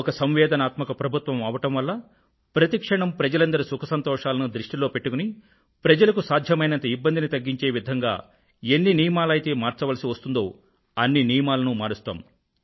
ఒక సంవేదనశీల ప్రభుత్వం అవడం వల్ల ప్రతి క్షణం ప్రజలందరి సుఖ సంతోషాలను దృష్టిలో పెట్టుకుని ప్రజలకు సాధ్యమైనంత ఇబ్బందిని తగ్గించే విధంగా ఎన్ని నియమాలైతే మార్చాల్సి వస్తుందో అన్ని నియమాలనూ మారుస్తాం